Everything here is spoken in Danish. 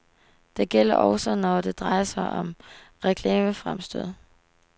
Det gælder også når det drejer sig om reklamefremstød.